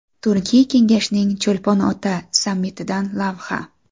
Turkiy kengashning Cho‘lpon-ota sammitidan lavha.